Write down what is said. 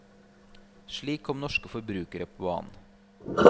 Slik kom norske forbrukere på banen.